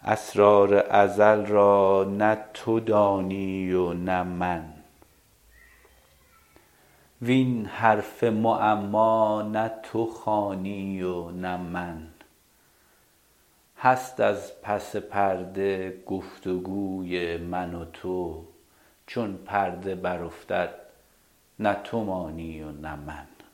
اسرار ازل را نه تو دانی و نه من وین حرف معما نه تو خوانی و نه من هست از پس پرده گفت وگوی من و تو چون پرده برافتد نه تو مانی و نه من